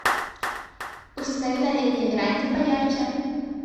установи на летней веранде поярче